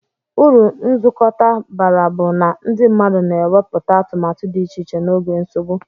Uru nzukọta bara bu na ndi mmadu na eweputa atumatu di iche iche na oge nsogbu.